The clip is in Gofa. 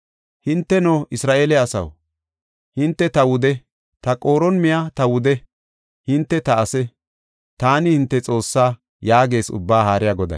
Hinteno, Isra7eele asaw, hinte ta wude; ta qooron miya ta wudiya; hinte ta ase, taani hinte Xoossaa” yaagees Ubbaa Haariya Goday.